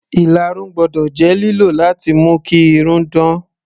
Ìlarun gbọ́dọ̀ jẹ́ lílò láti mú kí irun dán.